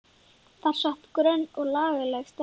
Þar sat grönn og lagleg stelpa.